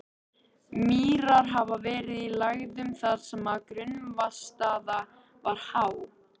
Mýrar hafa verið í lægðum þar sem grunnvatnsstaða var há.